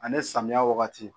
Ani samiyɛ wagati